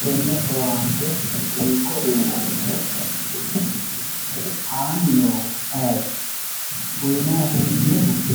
tenne owaante hiikko uyiinannni hee'noonni? annai noohu ayeeti ? uyiinanni hee'noonnihu